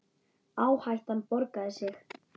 Áhættan borgaði sig.